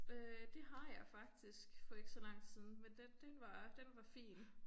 Øh det har jeg faktisk for ikke så lang tid siden men den den var den var fin